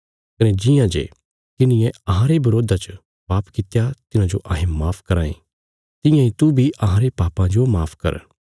कने जियां जे किन्हिये अहांरे बरोधा च पाप कित्या तिन्हांजो अहें माफ कराँ ये तियां इ तू बी अहांरे पापां जो माफ कर